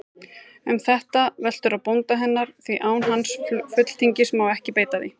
Um það veltur á bónda hennar, því án hans fulltingis má ekki beita því.